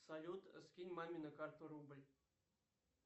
салют скинь маме на карту рубль